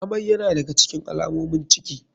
Amai yana da ga cikin alamomin ciki.